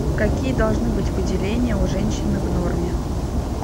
какие должны быть выделения у женщины в норме